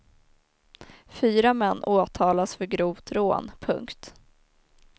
Fyra män åtalas för grovt rån. punkt